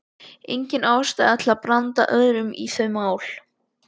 Engin ástæða til að blanda öðrum í þau mál.